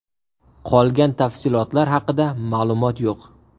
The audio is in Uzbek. Qolgan tafsilotlar haqida ma’lumot yo‘q.